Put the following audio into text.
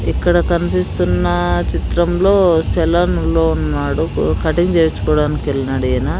ఇక్కడ కన్పిస్తున్న చిత్రంలో సెలాన్ లో ఉన్నాడు కటింగ్ చేయిచ్చుకోవడానికి వెల్నాడు ఈయన.